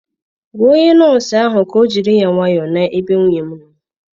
Gwa onye nọọsụ ahụ ka ọ jiri ya nwayọ na-ebe nwunye m nọọ.